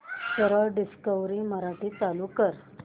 सरळ डिस्कवरी मराठी चालू कर